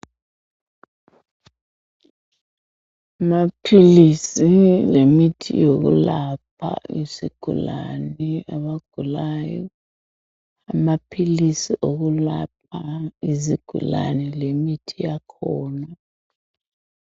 Amaphilisi lemithi yokulapha izigulane, abagulayo. Amaphilisi okulapha izigulane lemithi yakhona.